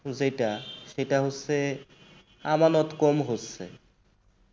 যেটা সেটা হচ্ছে আমানত কম হচ্ছে।